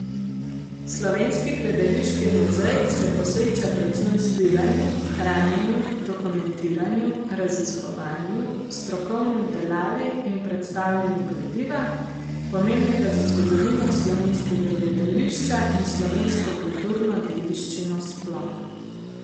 Slovenski gledališki muzej se posveča predvsem zbiranju, hranjenju, dokumentiranju, raziskovanju, strokovni obdelavi in predstavljanju gradiva, pomembnega za zgodovino slovenskega gledališča in slovensko kulturno dediščino sploh.